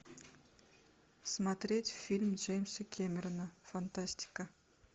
смотреть фильм джеймса кэмерона фантастика